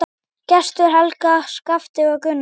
Gestur, Helga, Skafti og Gunnar.